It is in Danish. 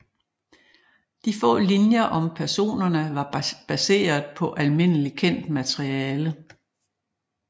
De få linjer om personerne var baseret på almindelig kendt materiale